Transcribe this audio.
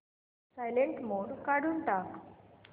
silent mode काढून टाक